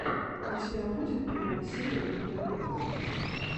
у тебя будет первая серия меган николь